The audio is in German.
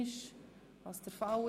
– Das ist nicht der Fall.